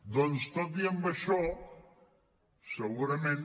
doncs tot i això segurament